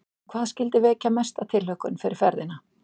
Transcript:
En hvað skyldi vekja mesta tilhlökkun fyrir ferðina?